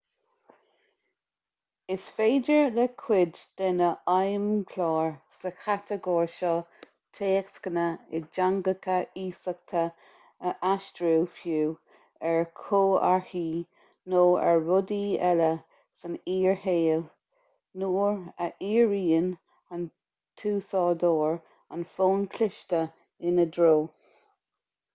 is féidir le cuid de na feidhmchláir sa chatagóir seo téacsanna i dteangacha iasachta a aistriú fiú ar chomharthaí nó ar rudaí eile san fhíor-shaol nuair a dhíríonn an t-úsáideoir an fón cliste ina dtreo